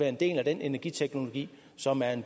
en del af den energiteknologi som er